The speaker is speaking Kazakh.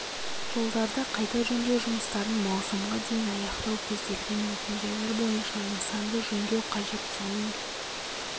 жолдарды қайта жөндеу жұмыстарын маусымға дейін аяқтау көзделген мекен жайлар бойынша нысанды жөндеу қажет соның